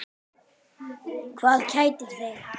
Hvað kætir þig?